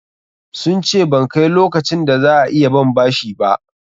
Sun ce ban kai lokacin da za a iya ban bashi ba.